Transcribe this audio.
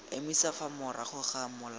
emisa fa morago ga mola